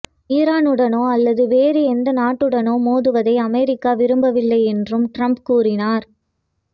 ஈரானுடனோ அல்லது வேறு எந்த நாட்டுடனோ மோதுவதை அமெரிக்கா விரும்பவில்லை என்றும் டிரம்ப் கூறினார்